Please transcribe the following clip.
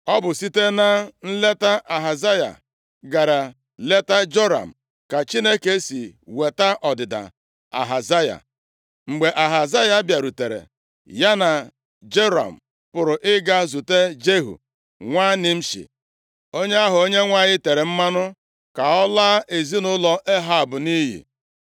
Ọ bụ site na nleta Ahazaya gara leta Joram, ka Chineke si weta ọdịda Ahazaya. Mgbe Ahazaya bịarutere, ya na Joram pụrụ ịga zute Jehu nwa Nimshi, onye ahụ Onyenwe anyị tere mmanụ ka ọ laa ezinaụlọ Ehab nʼiyi.